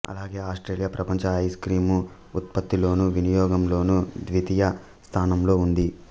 అలాగే ఆస్ట్రేలియా ప్రపంచ ice cream ఉత్పత్తిలోనూ వినియోగంలోనూ ద్వితీయ స్థానంలో ఉంది